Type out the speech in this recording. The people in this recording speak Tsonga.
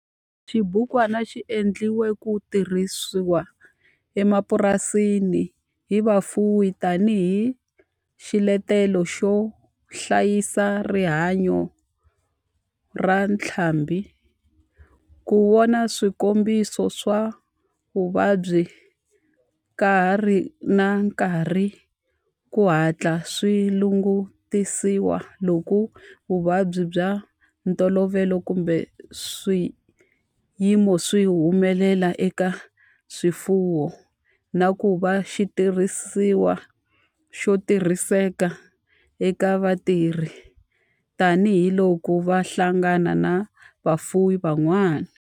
Xibukwana xi endliwe ku tirhisiwa emapurasini hi vafuwi tani hi xiletelo xo hlayisa rihanyo ra ntlhambhi, ku vona swikombiso swa vuvabyi ka ha ri na nkarhi ku hatla swi langutisiwa loko vuvabyi bya ntolovelo kumbe swiyimo swi humelela eka swifuwo, na ku va xitirhisiwa xo tirhiseka eka vatirhi tani hi loko va hlangana na vafuwi van'wana.